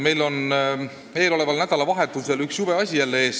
Meil seisab eeloleval nädalavahetusel jälle üks jube asi ees.